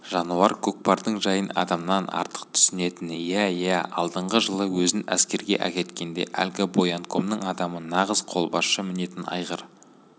жануар көкпардың жайын адамнан артық түсінетін иә иә алдыңғы жылы өзін әскерге әкеткенде әлгі боянкомның адамы нағыз қолбасшы мінетін айғыр